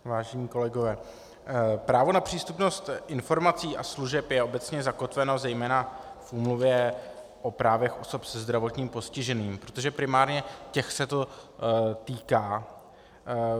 Vážení kolegové, právo na přístupnost informací a služeb je obecně zakotveno zejména v Úmluvě o právech osob se zdravotním postižením, protože primárně těch se to týká.